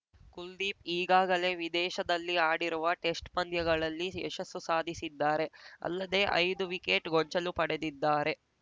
ಕುಲ್ದೀಪ್‌ ಈಗಾಗಲೇ ವಿದೇಶದಲ್ಲಿ ಆಡಿರುವ ಟೆಸ್ಟ್‌ ಪಂದ್ಯಗಳಲ್ಲಿ ಯಶಸ್ಸು ಸಾಧಿಸಿದ್ದಾರೆ ಅಲ್ಲದೆ ಐದು ವಿಕೆಟ್‌ ಗೊಂಚಲು ಪಡೆದಿದ್ದಾರೆ